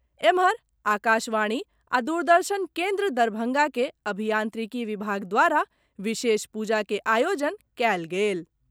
एम्हर, आकाशवाणी आ दूरदर्शन केन्द्र, दरभंगा के अभियांत्रिकी विभाग द्वारा विशेष पूजा के आयोजन कयल गेल।